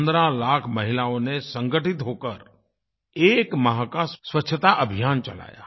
15 लाख महिलाओं ने संगठित होकर एक माह का स्वच्छता अभियान चलाया